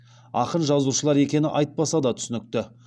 ақын жазушылар екені айтпаса да түсінікті